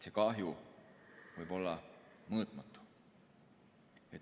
See kahju võib olla mõõtmatu.